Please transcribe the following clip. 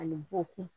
Ani bokun